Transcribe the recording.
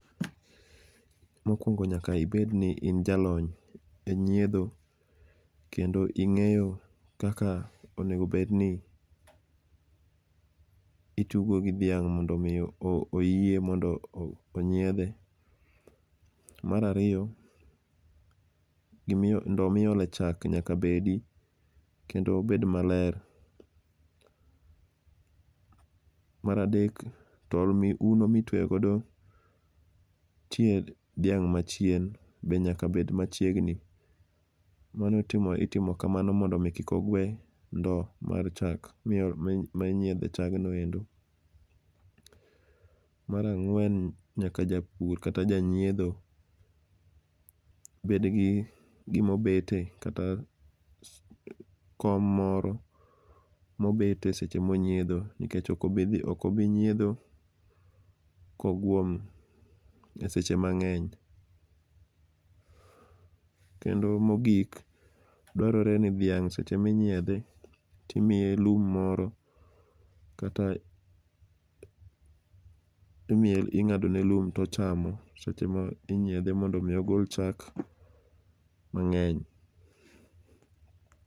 Mokuongo nyaka ibedi ni in jalony enyiedho, kendo inge'yo kaka onego bed ni itugo gi dhiang' mondo miyo o oyie mondo onyiedhe. Mar ariyo gima ndo ma iole chak nyaka bedi kendo obed maler. Mar adek tol mi, uno ma itweyo godo tie dhiang' machien bende nyaka bed machiegni. Mano itimo itimo kamano mondo mi kik ogwe ndowo mar chak minyiedhe chagni endo. Mar ang'wen nyaka japur kata janyiedho bede gi gima obete kata kom moro mobete seche ma onyiedho nikech ok obi nyiedho koguom e seche mang'eny. Kendo mogik dwarore ni dhiang' seche ma inyiedhe timiye lum moro, kata imiye, ing’ado ne lum to ochamo seche ma inyiedhe mondo omi ogol chak mang'eny.